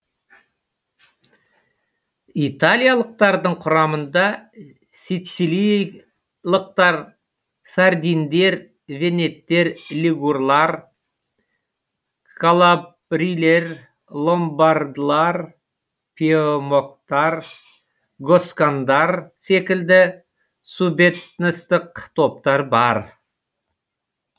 италиялықтардың құрамында сицилийлықтар сардиндер венеттер лигурлар калабрилер ломбардылар пьемокттар госкандар секілді субэтностық топтар бар